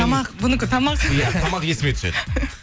тамақ бұнікі тамақ иә тамақ есіме түседі